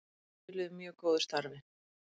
Skiluðu mjög góðu starfi